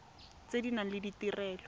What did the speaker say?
tse di nang le ditirelo